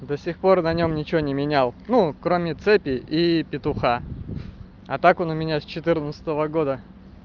до сих пор на нём ничего не менял ну кроме цепи и петуха а так он у меня с четырнадцатого года